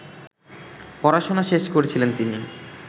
পড়াশোনা শেষ করছিলেন তিনি